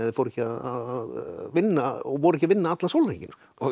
fóru ekki að vinna og voru ekki að vinna allan sólarhringinn